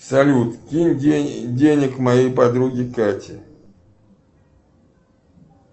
салют кинь денег моей подруге кате